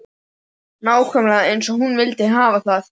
Nákvæmlega eins og hún vildi hafa það.